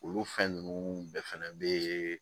Olu fɛn ninnu bɛɛ fɛnɛ be